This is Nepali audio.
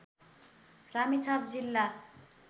रामेछाप जिल्ला